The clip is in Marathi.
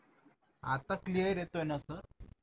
आता क्लिअर येतोय ना सर